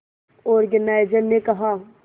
organiser ने कहा